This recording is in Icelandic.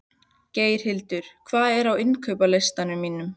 Geirhildur, hvað er á innkaupalistanum mínum?